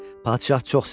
Padşah çox sevindi.